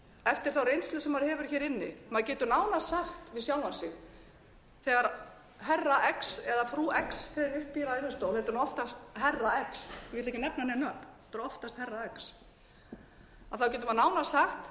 eftir þá reynslu sem maður hefur inni maður getur nánast sagt við sjálfan sig herra x eða frú x fer upp í ræðustól þetta er oftast herra x og ég ætla ekki að nefna nein nöfn þetta er oftast herra x þá getur maður örugglega sagt